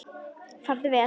Farðu vel.